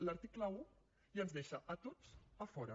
l’article un ja ens deixa a tots a fora